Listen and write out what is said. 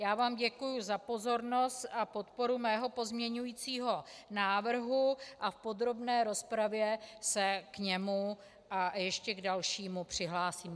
Já vám děkuji za pozornost a podporu mého pozměňovacího návrhu a v podrobné rozpravě se k němu a ještě k dalšímu přihlásím.